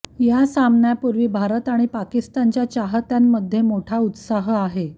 या सामन्यांपूर्वी भारत आणि पाकिस्तानच्या चाहत्यांमध्ये मोठा उत्साह आहे